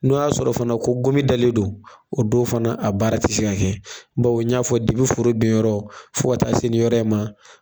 N'o y'a sɔrɔ fana ko gomi dalen don o don fana a baara tɛ se kɛ bawu n y'a fɔ foro binyɔrɔ fo taa se nin yɔrɔ ma